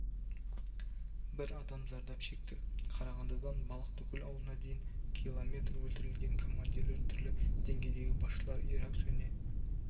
бір адам зардап шекті қарағандыдан балықтыкөл ауылына дейін километр өлтірілген командирлер түрлі деңгейдегі басшылар ирак және